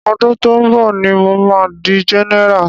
Ọdún tó ń bọ̀ ní mo ma di general.